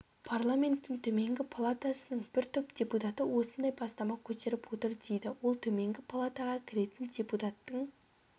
парламенттің төменгі палатасының бір топ депутаты осындай бастама көтеріп отыр дейді ол төменгі палатаға кіретін депутаттың